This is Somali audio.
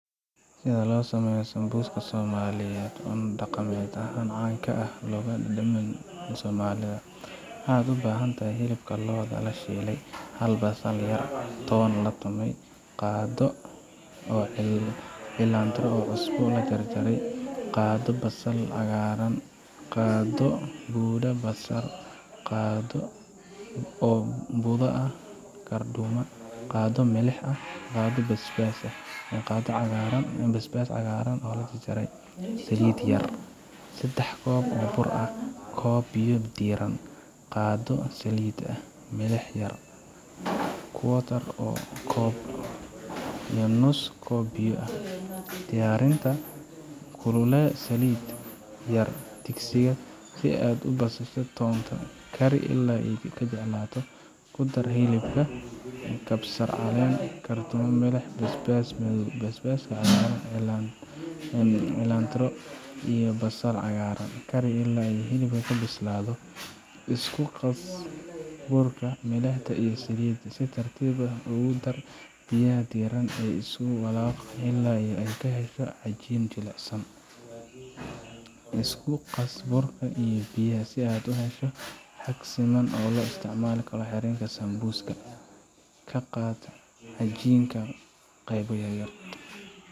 Sida loo sameeyo sambuuska Somaliyeed, cunto dhaqameed caan ah oo laga helo dhammaan Soomaaliya. Waxyaabaha aad u baahan tahay: hilibka lo'da, la shiiday hal basal yar, la jarjaray toon, la tumay qaado oo cilantro cusub, la jarjaray qaado oo basal cagaaran, qaado oo budada kabsar qaado oo budada karduuma qaado oo milix qaado oo basbaas madow basbaas cagaaran, la jarjaray Saliid yar oo lagu karayo koob oo bur cad ah koob biyo diirran qaado oo saliid ah Milix yar quarter oo koob bur nus koob biyo Diyaarinta : Ku kululee saliid yar digsiga, ku dar basasha iyo toonta, kari ilaa ay jilcaan. Ku dar hilibka, kabsar, karduuma, milix, basbaas madow, basbaaska cagaaran, cilantro, iyo basal cagaaran. Kari ilaa hilibku bislaado. Isku qas burka, milixda, iyo saliidda. Si tartiib ah ugu dar biyaha diirran adigoo isku walaaq ilaa aad ka hesho cajiin jilicsan. Isku qas burka iyo biyaha si aad u hesho xabag siman oo loo isticmaalo xiritaanka sambuuska. Ka qaad cajiinka qaybo yar yar.